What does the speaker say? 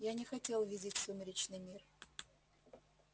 я не хотел видеть сумеречный мир